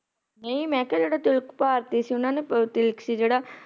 ਨਹੀਂ ਮਈ ਕਿਹਾ ਤਿਲਕ ਭਾਰਤੀ ਸੀ ਓਹਨਾ ਚ ਤਿਲਕ ਸੀ ਜਿਹੜਾ